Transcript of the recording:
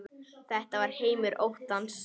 Þetta var heimur óttans.